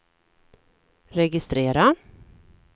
registrera